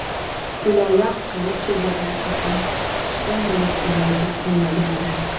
Gullola Qilichevada esa kutishdan bo‘lak iloji qolmagandi.